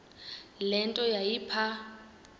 le nto yayipha